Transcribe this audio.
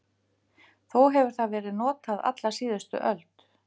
Þó hefur það verið notað alla síðustu öld.